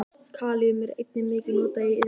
Kalíum er einnig mikið notað í iðnaði.